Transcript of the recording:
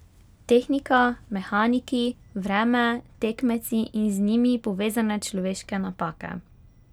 Tehnika, mehaniki, vreme, tekmeci in z njimi povezane človeške napake ...